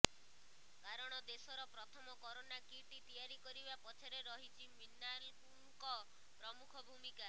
କାରଣ ଦେଶର ପ୍ରଥମ କରୋନା ପରୀକ୍ଷା କିଟ୍ ତିଆରି କରିବା ପଛରେ ରହିଛି ମିନାଲଙ୍କ ପ୍ରମୁଖ ଭୂମିକା